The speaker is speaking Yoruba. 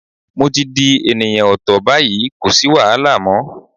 Mo ti di ènìyàn ọ̀tọ̀ báyìí, kò sì wàhálà mọ́.